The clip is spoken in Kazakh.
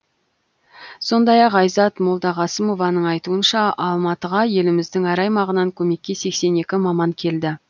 сондай ақ айзат молдағасымованың айтуынша алматыға еліміздің әр аймағынан көмекке сексен екі маман келді